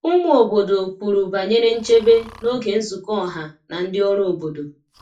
Ụmụ obodo kwuru banyere nchebe n’oge nzukọ ọha na ndị ọrụ obodo.